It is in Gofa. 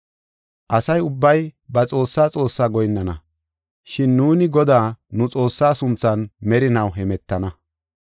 Asa ubbay ba xoossaa xoossaa goyinnana. Shin nuuni Godaa, nu Xoossaa sunthan merinaw hemetana.